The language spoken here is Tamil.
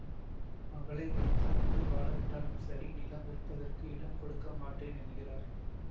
மகளை வைத்து கொண்டு வாழவிட்டாலும் சரி நிலம் விற்பதற்கு இடம் கொடுக்கமாட்டேன் என்கிறார்